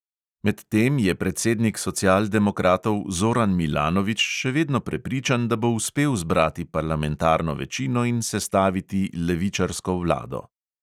Medtem je predsednik socialdemokratov zoran milanović še vedno prepričan, da bo uspel zbrati parlamentarno večino in sestaviti levičarsko vlado.